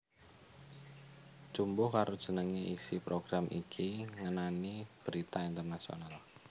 Jumbuh karo jenenge isi program iki ngenani berita internasional